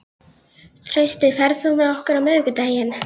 Trausti, ferð þú með okkur á miðvikudaginn?